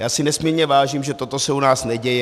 Já si nesmírně vážím, že toto se u nás neděje.